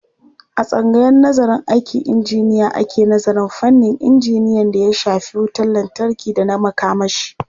A tsangayar nazarın aikin injiniya ake nazarin fannin injiniyan d aya shafi wutar lantarki da na makamashi.